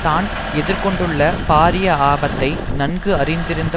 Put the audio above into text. தான் எதிர் கொண்டுள்ள பாரிய ஆபத்தை நன்கு அறிந்திருந்த